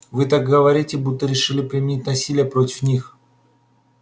вы так говорите будто решили применить насилие против них